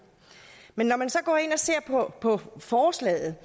men når man så går ind og ser på forslaget